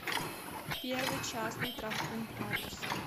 первый частный травмпункт адрес